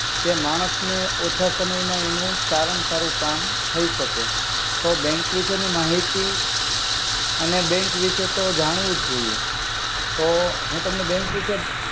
કે માનસ ને ઓછા મા ઓછા સમય મા એનુ સારામા સારુ કામ થઇ સકે તો બેંક વિસે નિ મહિતી અને બેંક વિસે તો જાણવુ જ જોઇએ. તો હુ તમને બેંક વિસે.